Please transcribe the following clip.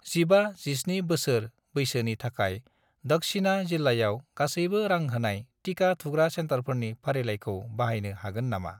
15 -17 बोसोर बैसोनि थाखाय दक्शिना जिल्लायाव गासैबो रां होनाय टिका थुग्रा सेन्टारफोरनि फारिलाइखौ बानायनो हागोन नामा?